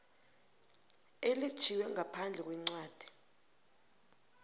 elitjhiywe ngaphandle kwencwadi